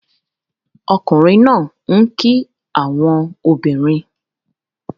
Ọkunrin naa n ki awọn obinrin